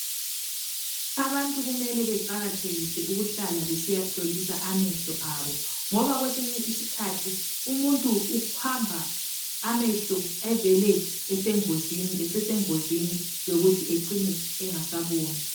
Abantu kumele beqakathekise ukuhlala besiya hlolisa amehlo abo ngoba kwesinye isikhathi umuntu uhamba amehlo evele esesengozini yokuthi ecine engasaboni.